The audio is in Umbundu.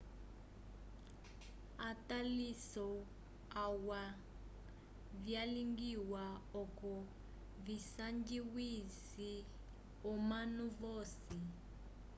ataliso alwa vyalingiwa oco visanjwise omanu vosi